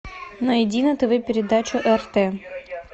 найди на тв передачу рт